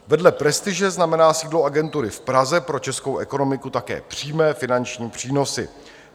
Vedle prestiže znamená sídlo agentury v Praze pro českou ekonomiku také přímé finanční přínosy.